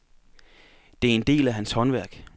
Det er en del af hans håndværk.